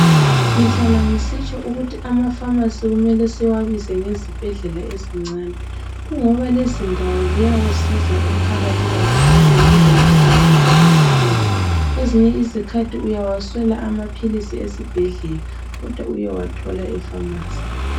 Ngihlala ngisitsho ukuthi amafamasi kumele siwabize ngengezibhedlela ezincane kungoba lezindawo ziyawusiza umphakathi kakhulu ngendlela engananzelelekiyo. Kwezinye izikhathi uyawaswela amaphilisi esibhedlela kodwa uyewathola efamasi.